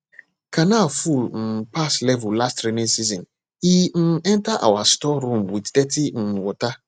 canal full um pass level last rainy season e um enter our store room with dirty um water